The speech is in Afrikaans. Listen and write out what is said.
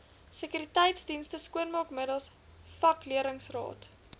sekuriteitsdienste skoonmaakmiddels vakleerlingraad